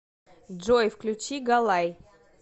джой включи галай